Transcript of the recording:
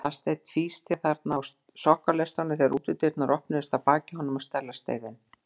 Aðalsteinn tvísteig þarna á sokkaleistunum þegar útidyrnar opnuðust að baki honum og Stella steig inn.